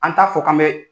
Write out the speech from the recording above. An t'a fɔ k'an bɛ